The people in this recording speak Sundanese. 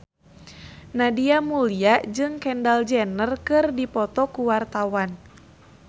Nadia Mulya jeung Kendall Jenner keur dipoto ku wartawan